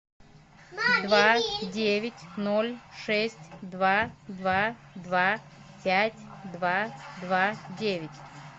два девять ноль шесть два два два пять два два девять